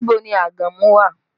Níbo ni àgàmú wà?